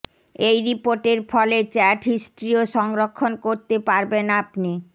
এই রিপোর্টের ফলে চ্যাট হিস্ট্রিও সংরক্ষণ করতে পারবেন আপনি